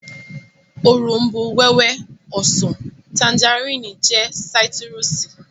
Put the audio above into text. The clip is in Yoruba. Òrombó-wẹ́wẹ́, ọsàn, tanjarínnì jẹ́ sáítírùsì